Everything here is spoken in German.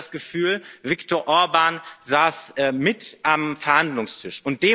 Man hatte das Gefühl, Viktor Orbàn saß mit am Verhandlungstisch.